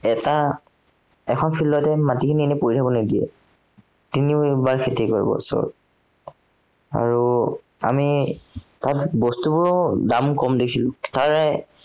এটা, এখন field তে মাটিখিনি এনেই পৰি থাকিব নিদিয়ে। তিনিবাৰ খেতি কৰিব বছৰত। আৰু আমি, তাত বস্তুবোৰৰ দাম কম দেখিলো এৰ